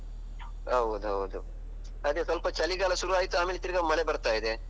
ಹೌದೌದು. ಅದೇ ಸ್ವಲ್ಪ ಚಳಿಗಾಲ ಶುರಾಯ್ತು ಆಮೇಲೆ ತಿರ್ಗ ಮಳೆ ಬರ್ತಾ ಇದೆ.